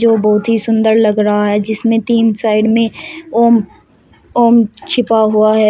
जो बहुत ही सुंदर लग रहा है जिसमें तीन साइड में ओम ओम छिपा हुआ है।